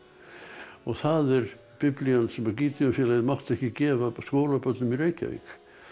og það er Biblían sem Gideonfélagið mátti ekki gefa skólabörnum í Reykjavík